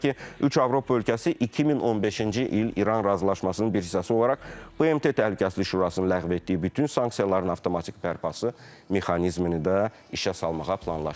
Belə ki, üç Avropa ölkəsi 2015-ci il İran razılaşmasının bir hissəsi olaraq BMT Təhlükəsizlik Şurasının ləğv etdiyi bütün sanksiyaların avtomatik bərpası mexanizmini də işə salmağı planlaşdırır.